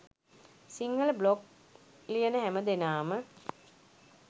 Sinhala blog ලියන හැම දෙනාම